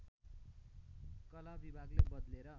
कलाविभागले बदलेर